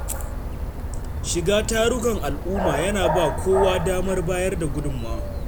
Shiga tarukan al’umma yana ba kowa damar bayar da gudunmawa.